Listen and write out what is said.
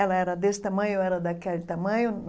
Ela era desse tamanho, eu era daquele tamanho.